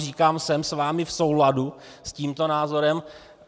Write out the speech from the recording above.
Říkám, jsem s vámi v souladu, s tímto názorem.